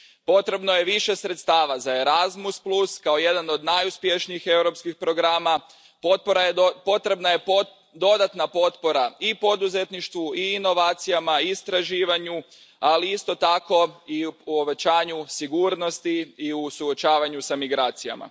Potrebno je više sredstava za Erasmus, kao jedan od najuspješnijih europskih programa, potrebna je dodatna potpora i poduzetništvu i inovacijama i istraživanju, ali isto tako i povećanju sigurnosti i suočavanju s migracijama.